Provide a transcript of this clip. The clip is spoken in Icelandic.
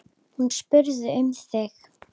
Hún spurði um þig.